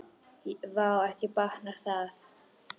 Vá, ekki batnar það!